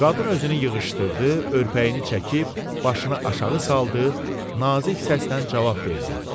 Qadın özünü yığışdırdı, örpəyini çəkib başını aşağı saldı, nazik səslə cavab verdi.